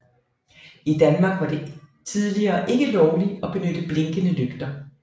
I Danmark var det tidligere ikke lovligt at benytte blinkende lygter